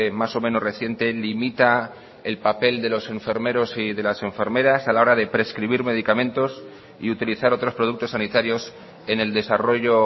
más o menos reciente limita el papel de los enfermeros y de las enfermeras a la hora de prescribir medicamentos y utilizar otros productos sanitarios en el desarrollo